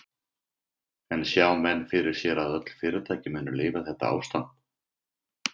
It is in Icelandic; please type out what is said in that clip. Sindri: En sjá menn fyrir sér að öll fyrirtæki muni lifa þetta ástand?